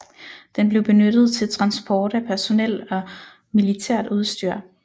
Den blev benyttet til transport af personel og militært udstyr